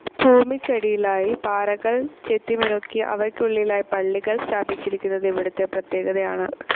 ഭൂമിക്കടിയിലായി പാറകൾ ചെത്തിമിനുക്കി അവയ്ക്കുള്ളിലായി പള്ളികൾ സ്ഥാപിച്ചിരിക്കുന്നത് ഇവിടുത്തെ പ്രത്യേകതയാണ്.